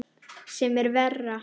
Sem er verra.